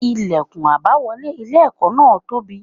Ilẹ̀kùn àbáwọlé ilé ẹ̀kọ́ náà tóbi.